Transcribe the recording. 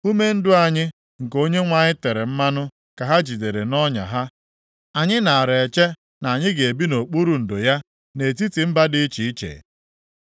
Ume ndụ anyị, nke Onyenwe anyị tere mmanụ, ka ha jidere nʼọnya ha. Anyị naara eche na anyị ga-ebi nʼokpuru ndo ya, nʼetiti mba dị iche iche.